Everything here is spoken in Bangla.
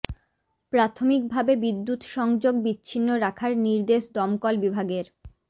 প্রাথমিক ভাবে বিদ্যুৎ সংযোগ বিচ্ছিন্ন রাখার নির্দেশ দমকল বিভাগের